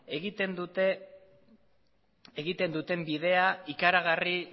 egiten duten bidea ikaragarri